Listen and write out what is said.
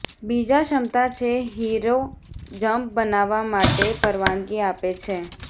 બીજા ક્ષમતા છે હીરો જમ્પ બનાવવા માટે પરવાનગી આપે છે